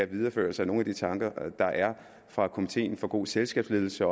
videreførelse af nogle af de tanker der er fra komitéen for god selskabsledelse